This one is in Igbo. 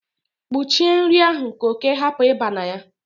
kpuchie nri ahụ ka oke hapu iba na ya